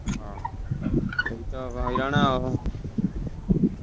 ହଁ ସେଇ ତ ହଇରାଣ ଆଉ।